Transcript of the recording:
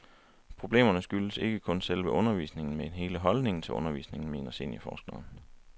Problemerne skyldes ikke kun selve undervisningen, men hele holdningen til undervisningen, mener seniorforskeren.